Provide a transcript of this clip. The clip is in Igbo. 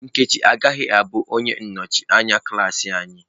Nkechi agaghị abụ onye nnọchiteanya klas anyị.